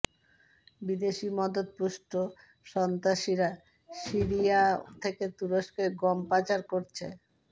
বিদেশি মদদপুষ্ট সন্ত্রাসীরা সিরিয়া থেকে তুরস্কে গম পাচার করছে